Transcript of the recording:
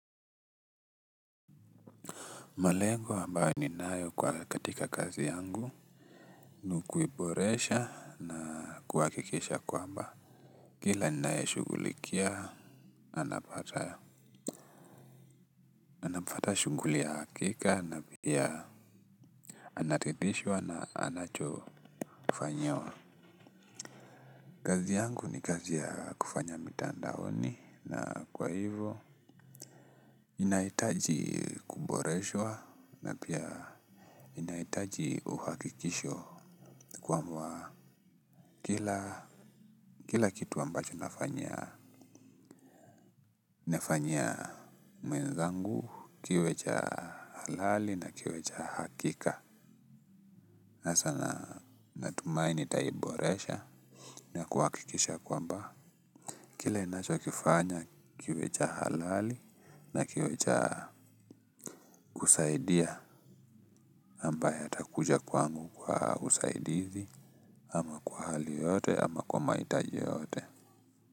Malengo ambayo ninayo katika kazi yangu ni kuiboresha na kuhakikisha kwamba kila ninayeshughulikia anapata shughuli ya hakika na pia anaridhishwa na anacho kufanyawa. Kazi yangu ni kazi ya kufanya mitandaoni na kwa hivyo inaitaji kuboreshwa na pia inaitaji kuhakikishwa kwamba Kila Kila kitu ambacho nafanyia mwenzangu kiwe cha halali na kiwe cha hakika. Na sana natumaini nitaiboresha. Na kuhakikisha kwamba kila ninacho kifanya kiwe cha halali na kiwe cha kusaidia ambaye atakuja kwangu kwa usaidizi ama kwa hali yoyote ama kwa mahitaji yeyote.